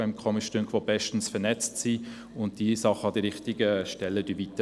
Diese ist bestens vernetzt und leitet die Anliegen an die richtigen Stellen weiter.